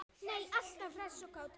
Alltaf hress og kát.